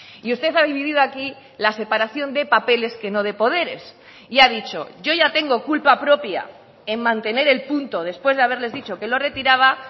y usted ha dividido aquí la separación de papeles que no de poderes y ha dicho yo ya tengo culpa propia en mantener el punto después de haberles dicho que lo retiraba